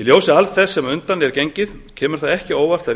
í ljósi alls þess sem á undan er gengið kemur það ekki á óvart að